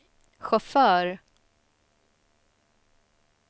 chaufför